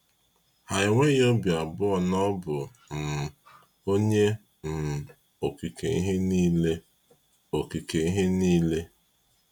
Ha enweghị obi abụọ na ọ bụ um Onye um Okike ihe niile. Okike ihe niile.